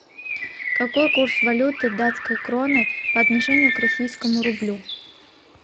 какой курс валюты датской кроны по отношению к российскому рублю